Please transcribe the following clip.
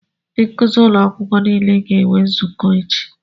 Ndị nkuzi ụlọ akwụkwọ niile ga-enwe nzukọ echi.